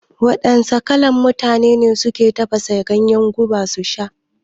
Wadanna kalan mutane ne suka tafasa ganyen guba su sha?